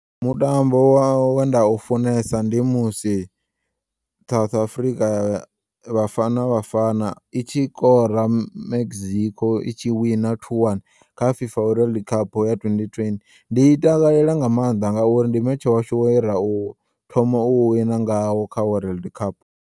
Mutambo we nda ufunesa ndi musi South Afrika vhafana vhafana it shikora Mexico i tshi wina two one kha FIFA world cup ya twenty ten ndi i takela nga maanḓa ngauri ndi metshe washu we ra u thoma u wina ngawo kha world cup.